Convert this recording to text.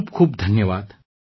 ખૂબ ખૂબ ધન્યવાદ